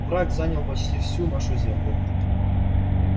враг занял почти всю нашу землю